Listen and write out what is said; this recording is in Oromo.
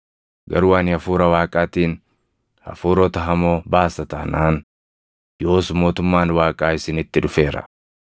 Garuu ani Hafuura Waaqaatiin hafuurota hamoo baasa taanaan, yoos mootummaan Waaqaa isinitti dhufeera.